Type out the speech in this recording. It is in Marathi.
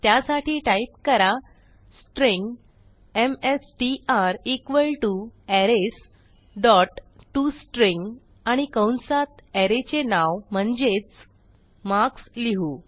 त्यासाठी टाईप करा string MSTR equal to arrays dot to string आणि कंसात अरे चे नाव म्हणजेच मार्क्स लिहू